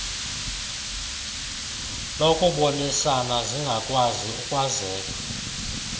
lokubonisana zingakwazi ukwazeka